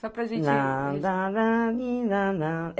Só para gente